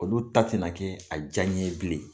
Olu ta tɛna na kɛ a diya ɲɛ ye bilen.